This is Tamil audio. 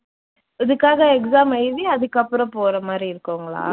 இதுக்காக exam எழுதி அதுக்கப்புறம் போற மாதிரி இருக்குங்களா?